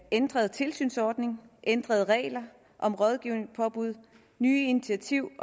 ændret tilsynsordning ændrede regler om rådgivning påbud og nye initiativer i